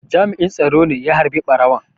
Jami'in tsaro ne ya harbe ɓarawon.